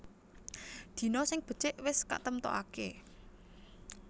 Dina sing becik wis katemtokaké